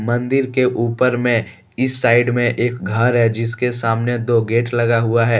मंदिर के ऊपर में इस साइड में एक घर है जिसके सामने दो गेट लगा हुआ है।